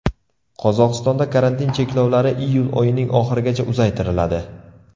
Qozog‘istonda karantin cheklovlari iyul oyining oxirigacha uzaytiriladi.